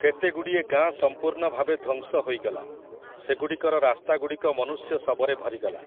କେତେଗୁଡ଼ିଏ ଗାଁ ସମ୍ପୂର୍ଣ୍ଣ ଭାବେ ଧ୍ୱଂସ ହୋଇଗଲା, ସେଗୁଡ଼ିକର ରାସ୍ତାଗୁଡ଼ିକ ମନୁଷ୍ୟ ଶବରେ ଭରିଗଲା ।